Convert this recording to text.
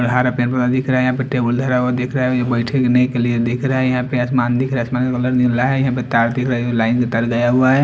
हरा दिख रहा है टेबुल धरा हुआ दिख रहा है और ये बैठने के लिए दिख रहा है यहाँ पे आसमान दिख रहा है आसमान का कलर नीला है यहाँ पर तार दिख रहा है ये लाइन भीतर गया हुआ है।